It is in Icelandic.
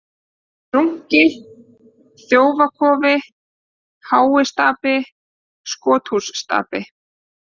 Runki, Þjófakofi, Háistapi, Skothússtapi